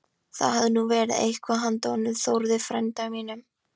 Það hefði nú verið eitthvað handa honum Þórði frænda mínum!